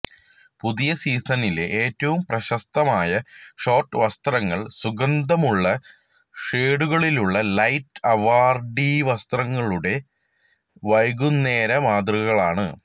പുതിയ സീസണിലെ ഏറ്റവും പ്രശസ്തമായ ഷോർട്ട് വസ്ത്രങ്ങൾ സുഗന്ധമുള്ള ഷേഡുകളുള്ള ലൈറ്റ് അവാർഡി വസ്ത്രങ്ങളുടെ വൈകുന്നേര മാതൃകകളാണ്